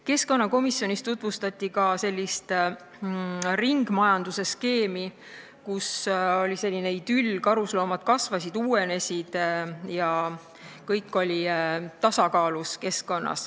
Keskkonnakomisjonis tutvustati ka ringmajandusskeemi, kus kujutati sellist idülli, et karusloomad kasvasid ja uuenesid ning keskkonnas oli kõik tasakaalus.